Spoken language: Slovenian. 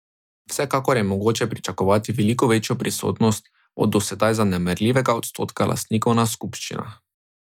Vsekakor je mogoče pričakovati veliko večjo prisotnost od do zdaj zanemarljivega odstotka lastnikov na skupščinah.